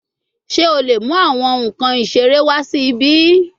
Ṣe o le mu awọn nkan isere wa si ibi?